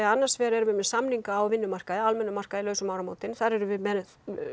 annars vegar erum við með samninga á vinnumarkaði almennum markaði laus um áramótin þar erum við með